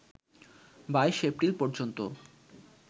২২ April পর্যন্ত